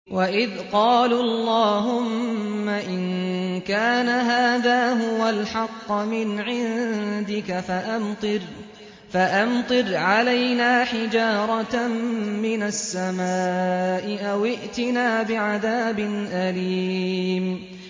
وَإِذْ قَالُوا اللَّهُمَّ إِن كَانَ هَٰذَا هُوَ الْحَقَّ مِنْ عِندِكَ فَأَمْطِرْ عَلَيْنَا حِجَارَةً مِّنَ السَّمَاءِ أَوِ ائْتِنَا بِعَذَابٍ أَلِيمٍ